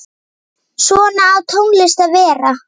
Svona á tónlist að vera.